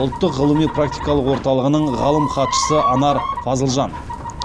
ұлттық ғылыми практикалық орталығының ғалым хатшысы анар фазылжан